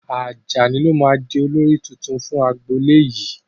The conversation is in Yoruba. Ajani lo máa di olórí tuntun fún agbolé yìí